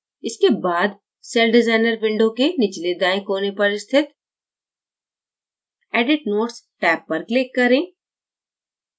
इसके बाद celldesigner window के निचले दाएं कोने पर स्थित edit notes टैब पर click करें